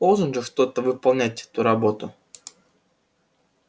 должен же кто-то выполнять эту работу